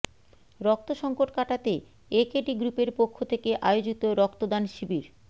রক্ত সংকট কাটাতে একেডি গ্রুপের পক্ষ থেকে আয়োজিত রক্তদান শিবির